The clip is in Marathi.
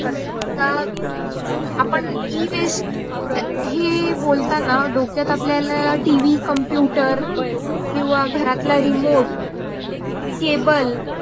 आपण e-waste ही हे बोलताना डोक्यात आपल्याला टीव्ही, computer किव्वा घरातला remote केबल